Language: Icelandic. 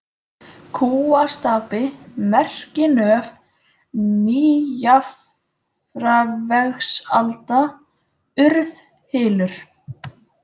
Kúastapi, Merkinöf, Nýjafarvegsalda, Urðhylur